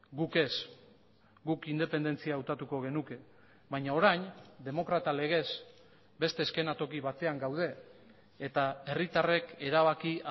guk ez guk independentzia hautatuko genuke baina orain demokrata legez beste eszenatoki batean gaude eta herritarrek erabaki